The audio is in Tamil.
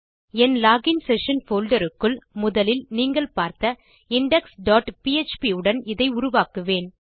என் லோகின் செஷன் போல்டர் க்குள் முதலில் நீங்கள் பார்த்த இண்டெக்ஸ் டாட் பிஎச்பி உடன் இதை உருவாக்குவேன்